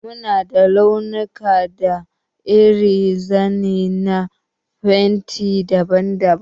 Mu na da launuka da irin zane na fenti daban-daban.